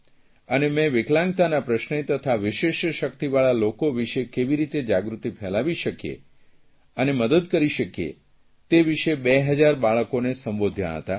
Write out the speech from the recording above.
અને મેં વિકલાંગતાના પ્રશ્ને તથા વિશિષ્ટ શકિતવાળા લોકો વિષે કેવી રેતી જાગૃતિ ફેલાવી શકીએ અને મદદ કરી શકીએ તે વિષે 2000 બાળકોને સંબોધ્યાં હતાં